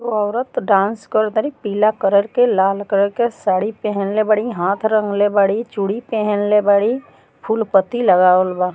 उ औरत डांस करत तारी पीला कलर के लाल कलर के साड़ी पेहेनले बाड़ी हाथ रंगले बाड़ी चूड़ी पेहले बाड़ी फूल पत्ती लगावल बा।